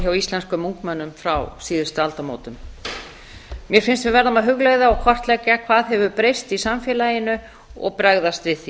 hjá íslenskum ungmennum frá síðustu aldamótum mér finnst við verða að hugleiða og kortleggja hvað hefur breyst í samfélaginu og bregðast við því